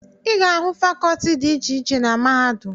Ị ga-ahụ fakọọti dị iche iche na mahadum.